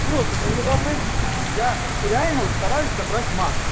просто невообразимо блин я реально стараюсь набрать массу